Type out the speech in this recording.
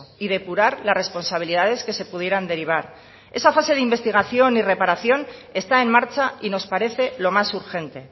y depurar las responsabilidades que se pudieran derivar esa fase de investigación y reparación está en marcha y nos parece lo más urgente